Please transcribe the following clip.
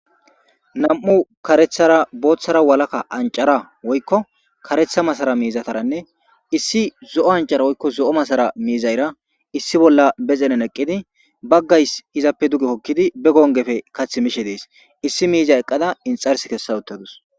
nam7u karethara booththara walakka ancara woykko karetha masara miizataranne issi zo7o ancara woykko zo7o masara miizayra issi bolla be xenen eqqidi baggays izappe duge kokkidi be gongefe kath mishe dees issi miiza eqqada inxars kessa uttadus